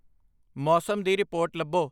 ਮੌਸਮ ਦੀ ਰਿਪੋਰਟ ਲੱਭੋ।